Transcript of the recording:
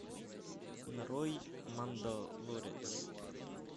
нарой мандалорец